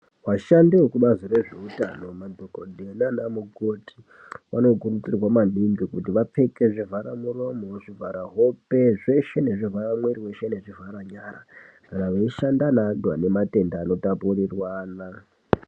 Vashandi vezvekubazi rezveutano madhogodheya naana mukoti vanokurudzirwa maningi kuti vapfeke zvivhara muromo, zvivhara hope zveshe nezvivhara muiri weshe nezvivhara nyara kana veishanda nevantu vanematenda anotapurirwana.